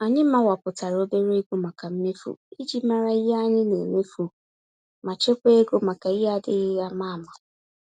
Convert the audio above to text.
Anyị mawapụtara obere ego màkà mmefu, iji mara ihe anyị nemefu, ma chekwaa égo maka ihe adịghị àmà-àmà.